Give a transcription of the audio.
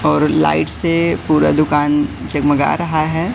और लाइट्स से पूरा दुकान झगमगा रहा है।